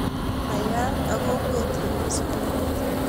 Nayak ak kokwet nemii sukulit